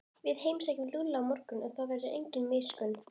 Við heimsækjum Lúlla á morgun og þá verður engin miskunn.